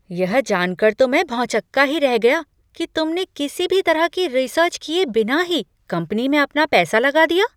यह जानकर तो मैं भौंचक्का ही रह गया कि तुमने किसी भी तरह की रिसर्च किए बिना ही कंपनी में अपना पैसा लगा दिया।